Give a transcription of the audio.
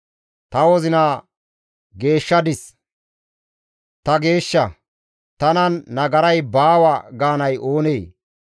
«Ta wozinaa geeshshadis; ta geeshsha; tanan nagaray baawa» gaanay oonee?